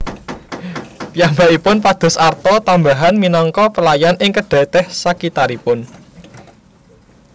Piyambakipun pados arta tambahan minangka pelayan ing kedai teh sakitaripun